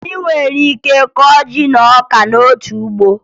Ị nwere ike ịkọ ji na ọka n'otu ugbo